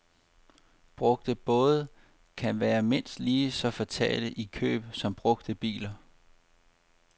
Brugte både kan være mindst lige så fatale i køb som brugte biler.